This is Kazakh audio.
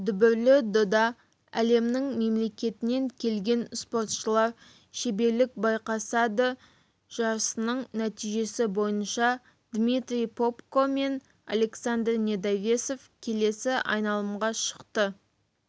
дүбірлі додада әлемнің мемлекетінен келген спортшылар шеберлік байқасады жарысының нәтижесі бойынша дмитрий попко мен александр недовесов келесі айналымға шықты